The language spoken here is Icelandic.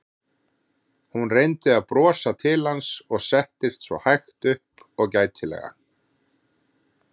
Hún reyndi að brosa til hans og settist svo upp hægt og gætilega.